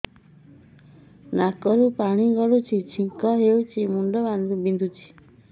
ନାକରୁ ପାଣି ଗଡୁଛି ଛିଙ୍କ ହଉଚି ମୁଣ୍ଡ ବିନ୍ଧୁଛି